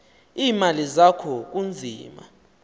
iimali zakho kunzima